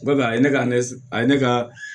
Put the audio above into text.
Bɛɛ a ye ne ka ne a ye ne ka